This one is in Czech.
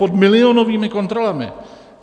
Pod milionovými kontrolami.